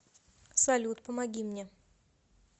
салют помоги мне